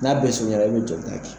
N'a bɛ surunyala i bɛ joli ta kɛ.